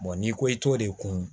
n'i ko i t'o de kun